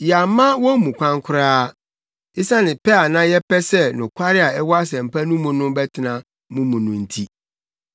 Yɛamma wɔn mu kwan koraa, esiane pɛ a na yɛpɛ sɛ nokware a ɛwɔ Asɛmpa no mu no bɛtena mo mu no nti.